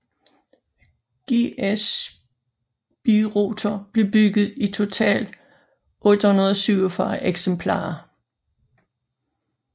GS Birotor blev bygget i totalt 847 eksemplarer